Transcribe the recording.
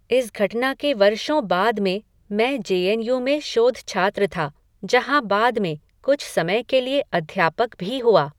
इस घटना के वर्षों बाद में, मैं जे एन यू में शोधछात्र था, जहां बाद में, कुछ समय के लिए, अध्यापक भी हुआ